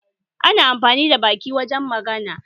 Ana amfani da baki wajen magana